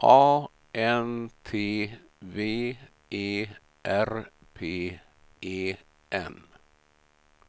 A N T W E R P E N